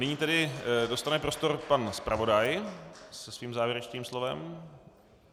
Nyní tedy dostane prostor pan zpravodaj se svým závěrečným slovem.